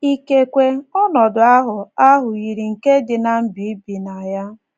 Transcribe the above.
Ikekwe ,ọnọdụ ahụ ahụ yiri nke dị ná mba i bi na ya.